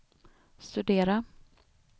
studera